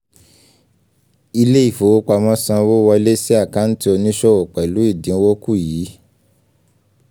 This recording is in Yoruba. ilẹ̀ ìfowopamọ́ san owó wọlé sí àkántì oníṣòwò pẹ̀lú ìdinwó kù yìí